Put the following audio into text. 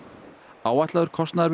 áætlaður kostnaður við